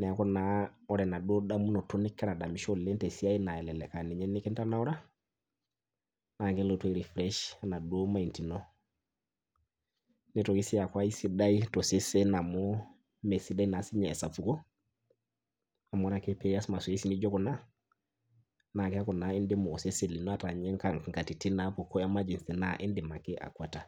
neeku naa wore enaduo damunoto nikira adamisho tesiai naa elelek aa ninye nikintanaura, naa kelotu ai refresh enaduo mind ino. Nitoki sii aaku kesidai tosesen amu mee sidai naa sininye esapuko, amu wore ake pee ias mazoezi nijo kuna, naa keaku naa indimu osesen lino ata ninye inkatitin naapuku emergency naa iindim ake akuata.